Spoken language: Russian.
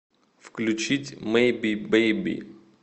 включить мэйби бэйби